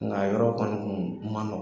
Nk'a yɔrɔ dɔni tun ma nɔgɔn.